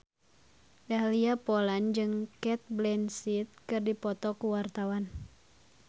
Dahlia Poland jeung Cate Blanchett keur dipoto ku wartawan